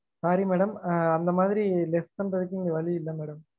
Sorry madam ah அந்த மாதிரி less பண்றதுக்கு வழி இல்ல madam